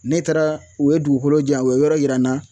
Ne taara u ye dugukolo di yan u ye yɔrɔ yira n na